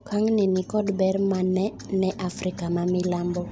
Okang'ni ni kod ber mane ne Afrika ma milambo?